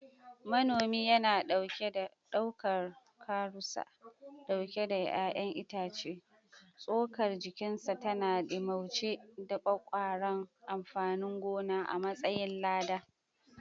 Manomi yana ɗaukar karusa ɗauke da ’ya’yan itace, tsokar jikinsa tana ɗimauce da ƙwaƙƙwaran amfanin gona a matsayin lada.